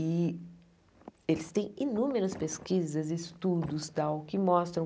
E eles têm inúmeras pesquisas e estudos tal que mostram